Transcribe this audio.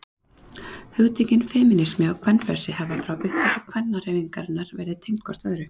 Hugtökin femínismi og kvenfrelsi hafa frá upphafi kvennahreyfingarinnar verið tengd hvort öðru.